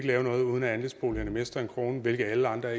lave noget hvor andelsboligerne mister en krone hvilket alle andre